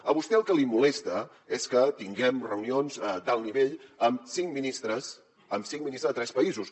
a vostè el que li molesta és que tinguem reunions d’alt nivell amb cinc ministres amb cinc ministres de tres països